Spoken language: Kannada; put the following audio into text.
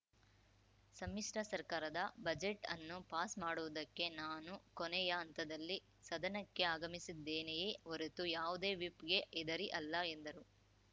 ಸಮ್ಮಿಶ್ರ ಸರ್ಕಾರದ ಬಜೆಟ್‌ ಅನ್ನು ಪಾಸ್‌ ಮಾಡುವುದಕ್ಕೆ ನಾನು ಕೊನೆಯ ಹಂತದಲ್ಲಿ ಸದನಕ್ಕೆ ಆಗಮಿಸಿದ್ದೇನೆಯೇ ಹೊರತು ಯಾವುದೇ ವಿಪ್‌ಗೆ ಹೆದರಿ ಅಲ್ಲ ಎಂದರು